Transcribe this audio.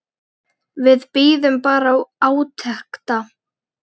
Við bíðum bara átekta.